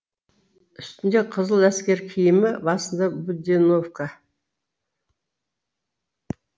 үстінде қызыл әскер киімі басында буденовка